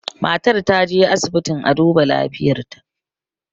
matar ta je asibitin a duba lafiyarta